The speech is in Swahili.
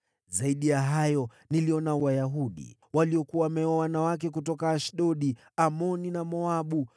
Zaidi ya hayo, niliona Wayahudi waliokuwa wameoa wanawake kutoka Ashdodi, Amoni na Moabu.